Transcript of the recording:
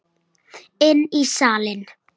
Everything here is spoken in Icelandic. Inn í salinn.